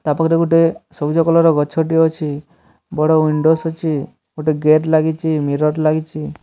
ତା ପାଖରେ ଗୋଟେ ସବୁଜ କଲର ର ଗଛ ଟେ ଅଛି ବଡ଼ ୱିଣ୍ଡୋ ସ ଅଛି ଗୋଟେ ଗେଟ ଲାଗିଚି ମିରର ଲାଗିଚି।